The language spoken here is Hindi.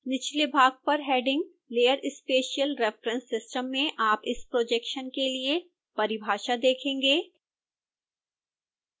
निचले भाग पर heading layer spatial reference system में आप इस प्रोजेक्शन के लिए परिभाषा देखेंगे